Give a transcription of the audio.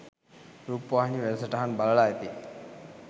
රූපවාහිනී වැඩසටහන් බලල ඇති.